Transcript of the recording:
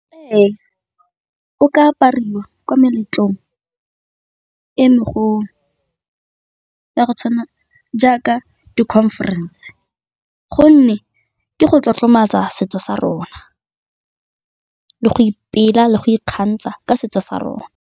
Ee, o ka apariwa ko meletlong e megolo, ya go tshwana jaaka di-conference gonne ke go tlotlomatsa setso sa rona, le go ipela le go ikgantsha ka setso sa rona.